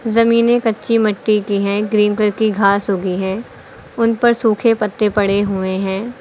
जमीने कच्ची मट्टी की है ग्रीन की घास उगी है उन पर सूखे पत्ते पड़े हुए हैं।